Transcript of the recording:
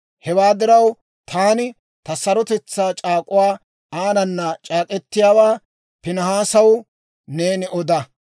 Hewaa diraw, taani ta sarotetsaa c'aak'uwaa aanana c'aak'k'etiyaawaa Piinihaasaw neeni oda.